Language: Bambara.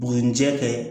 Buguni jɛ kɛ